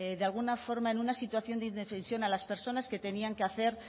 de alguna forma en una situación de indefensión a las personas que tenían que hacer